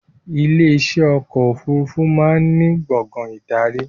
Ilé iṣẹ́ ọkọ̀ òfurufú máa ń ní gbàngán ìdarí